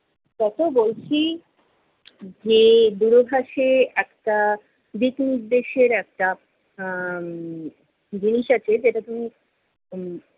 কত বলছি যে দূর একটা দিক নির্দেশের একটা আহ জিনিস আছে যেটা তুমি উম